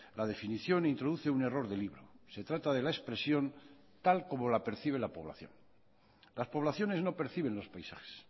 la definición introduce un error de libro se trata de la expresión tal como la percibe la población las poblaciones no perciben los paisajes